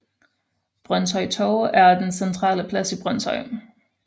Brønshøj Torv er den centrale plads i Brønshøj